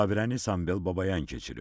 Müşavirəni Sambel Babayan keçirib.